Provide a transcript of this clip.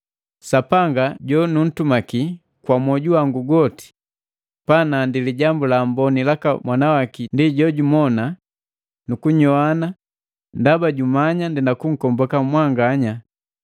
Sapanga jo nuntumaki kwa mwoju wangu goti pa nandi Lijambu la Amboni laka Mwana waki ndi jojumona nukunyoana ndaba jumanya ndenda kunkomboka mwanganya,